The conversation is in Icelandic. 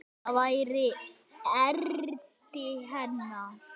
Það væri erindi hennar.